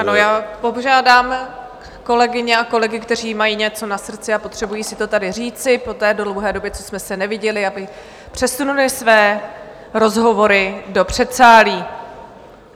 Ano, já požádám kolegyně a kolegy, kteří mají něco na srdci a potřebují si to tady říci po té dlouhé době, co jsme se neviděli, aby přesunuli své rozhovory do předsálí.